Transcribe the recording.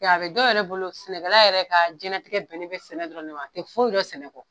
Nka a be dɔ yɛrɛ bolo sɛnɛkala yɛrɛ ka jɛnɛtigɛ bɛnnen bɛ sɛnɛ dɔrɔn de ma, a tɛ foyi dɔn sɛnɛ kɔ